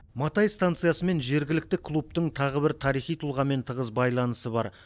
матай станциясы мен жергілікті клубтың тағы бір тарихи тұлғамен тығыз байланысы бар